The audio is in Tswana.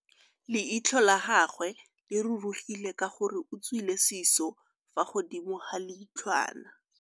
Leitlhô la gagwe le rurugile ka gore o tswile sisô fa godimo ga leitlhwana.